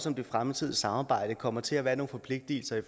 om det fremtidige samarbejde også kommer til at være nogle forpligtelser